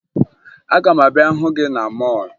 Aga m abịa hụ gị na mọọlụ